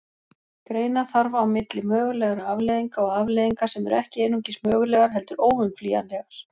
Greina þarf á milli mögulegra afleiðinga og afleiðinga sem eru ekki einungis mögulegar heldur óumflýjanlegar.